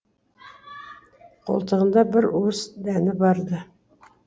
қолтығында бір уыс дәні бар ды